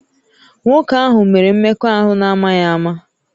Nwoke ahụ mere mmekọahụ n'amaghị ama